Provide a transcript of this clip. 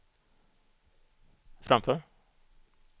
framför